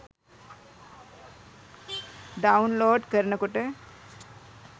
download කරනකොට